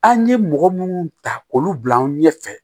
An ye mɔgɔ munnu ta olu bila an ɲɛfɛ